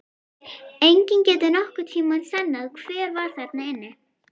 Enginn getur nokkurn tíma sannað hver var þarna inni!